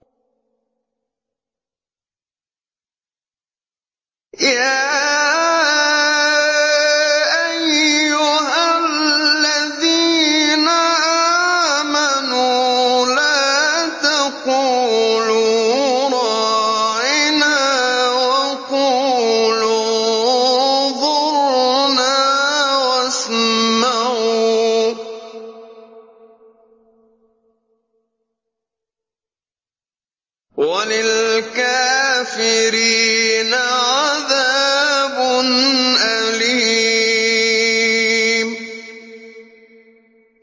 يَا أَيُّهَا الَّذِينَ آمَنُوا لَا تَقُولُوا رَاعِنَا وَقُولُوا انظُرْنَا وَاسْمَعُوا ۗ وَلِلْكَافِرِينَ عَذَابٌ أَلِيمٌ